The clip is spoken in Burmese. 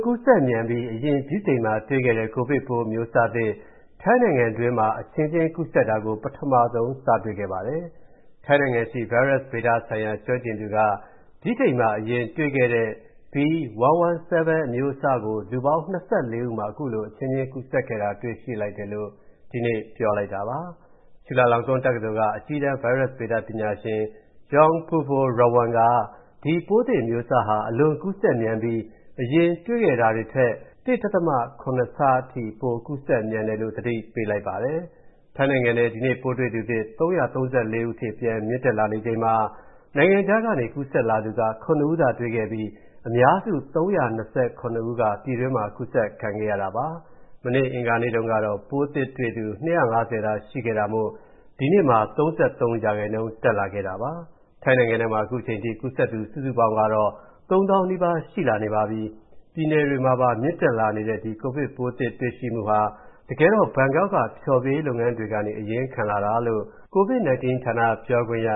ကူးစက်မြန်ပြီး အရင်ဗြိတိန်မှာတွေ့ခဲ့တဲ့ ကိုဗစ်ပိုးအမျိုးအစားသစ် ထိုင်းနိုင်ငံတွင်းမှာ အချင်းချင်းကူးစက်တာကို ပထမဆုံး စတွေ့ခဲ့ပါတယ်။ ထိုင်းနိုင်ငံရှိ ဗိုင်းရပ်စ်ဗေဒဆိုင်ရာ ကျွမ်းကျင်သူက ဗြိတိန်မှာအရင်တွေ့ခဲ့တဲ့ B.1.1.7 အမျိုးအစားကို လူပေါင်း ၂၄ ဦးမှာ အခုလိုအချင်းချင်းကူးစက်ခဲ့တာ တွေ့ရှိလိုက်တယ်လို့ ဒီနေ့ ပြောပါတယ်။ ချူလာလောင်ကွန်းတက္ကသိုလ်က အကြီးတန်း ဗိုင်းရပ်စ်ဗေဒပညာရှင် Yong Poovorawan က ဒီ ပိုးသစ်အမျိုးအစားဟာ အလွန်ကူးစက်မြန်ပြီး အရင်တွေ့ခဲ့တာတွေထက် ၁.၇ ဆအထိ ပိုကူးစက်မြန်တယ်လို့ သတိပေးလိုက်ပါတယ်။ ထိုင်းနိုင်ငံထဲ ဒီနေ့ပိုးတွေ့သူသစ် ၃၃၄ ဦးအထိ ပြန်မြင့်တက်လာနေချိန်မှာ နိုင်ငံခြားကနေကူးစက်လာသူက ၇ ဦးသာတွေ့ခဲ့ပြီး အများစု ၃၂၇ ဦးက ပြည်တွင်းမှာ ကူးစက်ခံခဲ့ရတာပါ။ မနေ့ အင်္ဂါနေ့တုံးကတော့ ပိုးတွေ့သူသစ် ၂၅၀ သာရှိခဲ့တာမို့ ဒီနေ့မှာ ၃၃% တက်လာတာပါ။ ထိုင်းနိုင်ငံထဲမှာ ခုချိန်ထိ ကူးစက်သူစုစုပေါင်းကတော့ ၃ သောင်းနီးပါးရှိလာနေပါပြီ။ ပြည်နယ်တွေမှာပါ မြင့်တက်လာတဲ့ ကိုဗစ်ပိုးသစ်တွေ့ရှိမူဟာ တကယ်တော့ ဘန်ကောက်က ဖျော်ဖြေရေးလုပ်ငန်းတွေကနေ အရင်းခံလာတာလို့ ကိုဗစ်-19 ဌာန ပြောခွင့်ရ